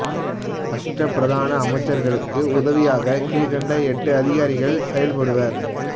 அஷ்ட பிரதான அமைச்சர்களுக்கு உதவியாக கீழ்கண்ட எட்டு அதிகாரிகள் செயல்படுவர்